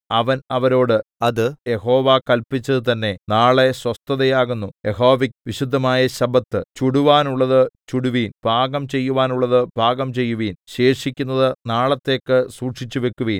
അവൻ അവരോട് അത് യഹോവ കല്പിച്ചത് തന്നെ നാളെ സ്വസ്ഥത ആകുന്നു യഹോവയ്ക്ക് വിശുദ്ധമായ ശബ്ബത്ത് ചുടുവാനുള്ളത് ചുടുവിൻ പാകം ചെയ്യുവാനുള്ളത് പാകം ചെയ്യുവിൻ ശേഷിക്കുന്നത് നാളത്തേക്ക് സൂക്ഷിച്ചുവയ്ക്കുവീൻ